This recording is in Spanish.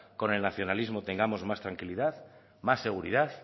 con el nacionalismo tengamos más tranquilidad más seguridad